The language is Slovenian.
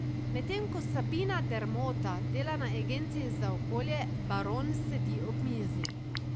Medtem ko Sabina Dermota dela na agenciji za okolje, Baron sedi ob mizi.